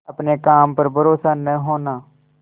अपने काम पर भरोसा न होना